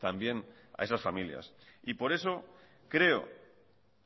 también a esas familias y por eso creo